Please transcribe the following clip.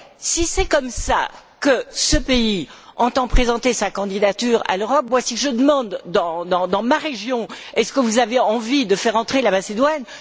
Si c'est comme cela que ce pays entend présenter sa candidature à l'Europe, et si je demande, dans ma région Est ce que vous avez envie de faire entrer la Macédoine?,